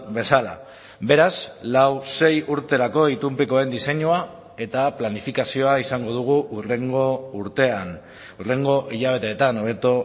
bezala beraz lau sei urterako itunpekoen diseinua eta planifikazioa izango dugu hurrengo urtean hurrengo hilabeteetan hobeto